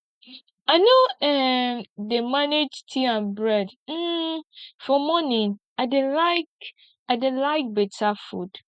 i no um dey manage tea and bread um for morning i dey like i dey like beta food